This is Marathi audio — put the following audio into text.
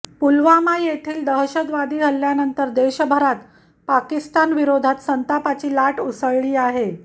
पुलवामा येथील दहशतवादी हल्ल्यानंतर देशभरात पाकिस्तानविरोधात संतापाची लाट उसळली आहे